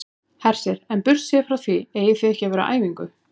Hersir: En burtséð frá því eigið þið ekki að vera á æfingu?